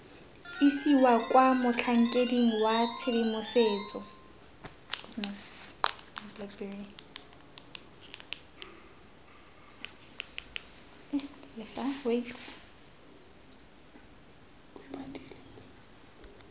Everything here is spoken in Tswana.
isiwa kwa motlhankeding wa tshedimosetso